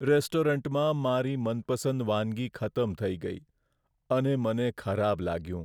રેસ્ટોરન્ટમાં મારી મનપસંદ વાનગી ખતમ થઈ ગઈ અને મને ખરાબ લાગ્યું.